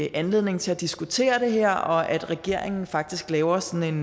en anledning til at diskutere det her og at regeringen faktisk laver sådan